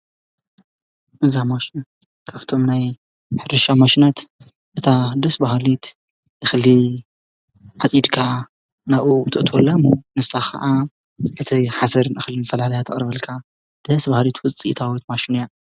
እዛ ማሽን ካብ ናይ ሕርሻ ማሽናት ደስ ባሃሊ እክሊ ዓፂድካ ናብኡ ተእትወላ እሞ ንሳ ከዓ ሓሰርን እክል ፈላልያ ተቅርበልካ ዴስ ባሃሊት ውፅኢታዊት ማሽን እያ ።